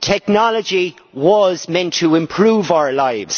Technology was meant to improve our lives.